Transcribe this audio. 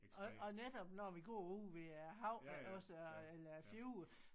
Og og netop når vi går ude ved æ hav iggås eller æ fjord